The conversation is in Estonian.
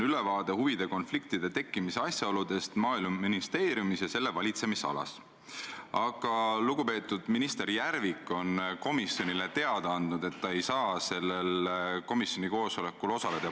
Kui vaatame kas või viimaseid Kaitseministeeriumi uuringuid, siis just näiteks julgeoleku osas, aga ka mitmesuguste riigi institutsioonide puhul me näeme, et Eesti elanikkonna usaldus on kasvanud.